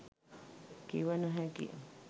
කිව නොහැකියි.